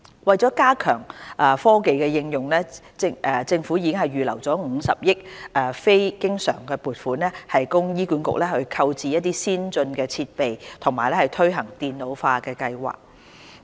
為加強科技應用，政府已預留50億元非經常撥款，供醫管局購置先進設備及推行電腦化計劃。